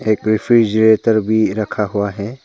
एक रेफ्रिजरेटर भी रखा हुआ है।